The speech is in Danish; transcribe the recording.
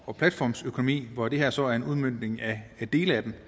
og platformsøkonomi og det her er så en udmøntning af dele af den